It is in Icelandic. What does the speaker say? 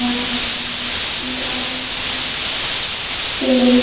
Guð í alheims geimi.